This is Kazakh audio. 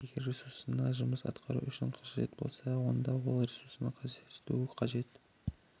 егер ресурсына жұмыс атқару үшін қажет болса онда олар ресурсыда көрсетілуі қажет